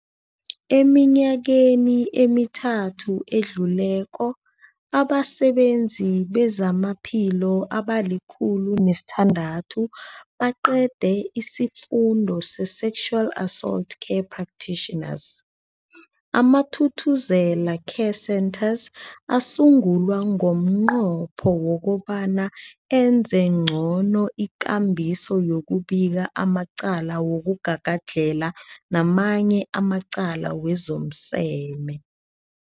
Eminyakeni emithathu edluleko, abasebenzi bezamaphilo abali-106 baqede isiFundo se-Sexual Assault Care Practitioners. AmaThuthuzela Care Centres asungulwa ngomnqopho wokobana enze ngcono ikambiso yokubika amacala wokugagadlhela namanye amacala wezomseme.